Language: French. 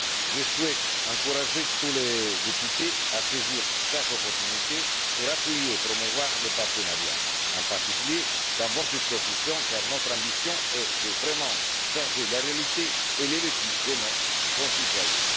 Je souhaite encourager tous les députés à saisir toutes les occasions d'appuyer et de promouvoir le partenariat, en particulier dans vos circonscriptions, car notre ambition est de vraiment changer la réalité et le vécu de nos concitoyens.